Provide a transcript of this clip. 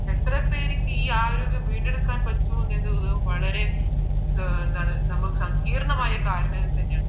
എത്ര പേർക്ക് ഈ ആരോഗ്യം വീണ്ടെടുക്കാൻ പറ്റുമെന്നത് എന്താണ് നമ്മൾ സങ്കീർണമായി കാരണങ്ങൾ തന്നെയാണ്